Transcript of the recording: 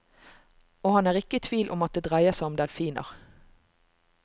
Og han er ikke i tvil om at det dreier seg om delfiner.